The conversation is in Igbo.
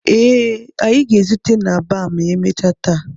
Ee, anyị ga-ezute na baa ma emechaa taa